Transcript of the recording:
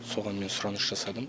соған мен сұраныс жасадым